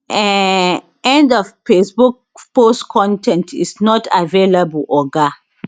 um end of facebook post con ten t is not available oga